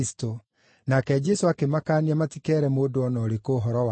Nake Jesũ akĩmakaania matikeere mũndũ o na ũrĩkũ ũhoro wake.